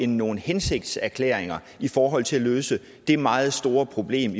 nogle hensigtserklæringer i forhold til at løse det meget store problem